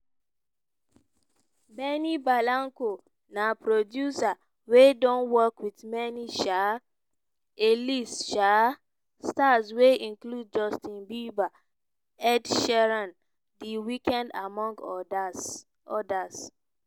benny blanco na producer wey don work wit many um a-list um stars wey include justin bieber ed sheeran the weeknd among odas.